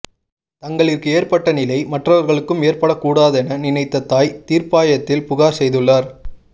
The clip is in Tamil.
தங்களிற்கு ஏற்பட்ட நிலை மற்றவர்களிற்கும் ஏற்பட கூடாதென நினைத்த தாய் தீர்ப்பாயத்தில் புகார் செய்துள்ளார்